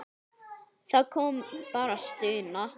Það kom bara stuna.